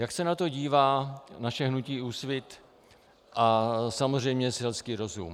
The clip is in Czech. Jak se na to dívá naše hnutí Úsvit a samozřejmě selský rozum?